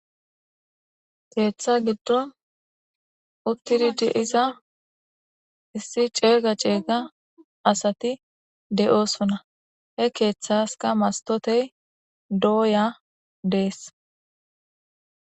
Ketha gidon utidi de'iza issi cega cega asati de'osona he kethaska mastotey doya des.